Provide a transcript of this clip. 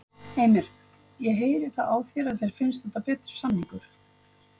Heimir: Ég heyri það á þér að þér finnst þetta betri samningur?